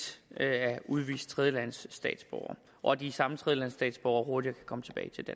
at udvise tredjelandsstatsborgere og at de samme tredjelandsstatsborgere hurtigere kan komme tilbage til